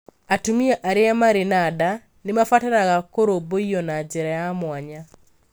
Atumia arĩa marĩ na nda nĩ mabataraga kũrũmbũiyo na njĩra ya mwanya.